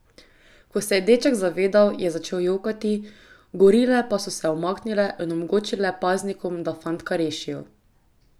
Ko se je deček zavedel, je začel jokati, gorile pa so se umaknile in omogočile paznikom, da fantka rešijo.